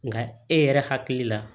Nka e yɛrɛ hakili la